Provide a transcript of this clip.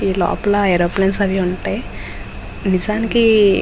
లోపల ఏరోప్లేన్ అవి ఉంటాయి. నిజానికి --